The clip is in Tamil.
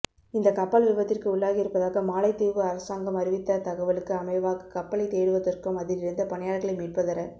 இந்தக் கப்பல் விபத்திற்கு உள்ளாகியிருப்பதாக மாலைதீவு அரசாங்கம் அறிவித்த தகவலுக்கு அமைவாக கப்பலைத் தேடுவதற்கும் அதிலிருந்த பணியாளர்களை மீட்பதற